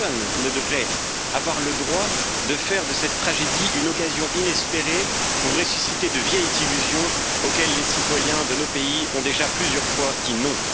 Personne ne devrait avoir le droit de faire de cette tragédie, une occasion inespérée pour ressusciter de vieilles d'illusions auxquelles les citoyens de nos pays ont déjà plusieurs fois dit non.